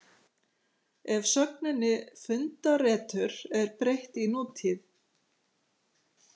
Ef sögninni fundaretur er breytt í nútíð.